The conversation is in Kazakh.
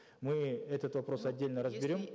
мы этот вопрос отдельно разберем